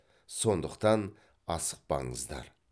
сондықтан асықпаңыздар